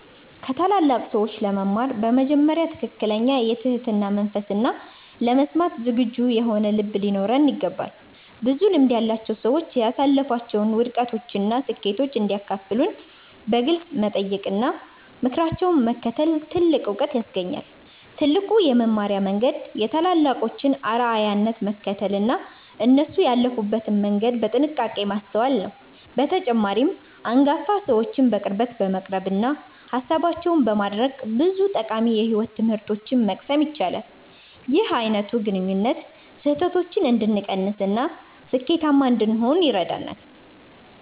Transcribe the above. ከታላላቅ ሰዎች ለመማር በመጀመሪያ ትክክለኛ የትህትና መንፈስና ለመስማት ዝግጁ የሆነ ልብ ሊኖረን ይገባል። ብዙ ልምድ ያላቸው ሰዎች ያሳለፏቸውን ውድቀቶችና ስኬቶች እንዲያካፍሉን በግልጽ መጠየቅና ምክራቸውን መከተል ትልቅ ዕውቀት ያስገኛል። ትልቁ የመማሪያ መንገድ የታላላቆችን አርአያነት መከተልና እነሱ ያለፉበትን መንገድ በጥንቃቄ ማስተዋል ነው። በተጨማሪም፣ አንጋፋ ሰዎችን በቅርበት በመቅረብና ሃሳባቸውን በማድነቅ ብዙ ጠቃሚ የሕይወት ትምህርቶችን መቅሰም ይቻላል። ይህ አይነቱ ግንኙነት ስህተቶችን እንድንቀንስና ስኬታማ እንድንሆን ይረዳናል።